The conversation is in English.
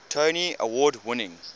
tony award winning